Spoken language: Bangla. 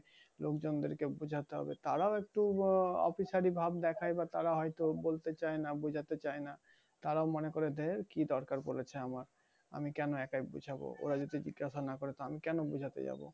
লোকজনদেরকে বোঝাতে হবে তারাও একটু আহ officer ই ভাব দেখায় বা তার হয়তো বলতে চাই না বোঝাতে চাইনা। তারা মনে করে যে, কি দরকার পড়েছে? কেন একা বলতে যাব? ওরা যদি না জিজ্ঞাসা করে? আমি কেন বলতে যাব?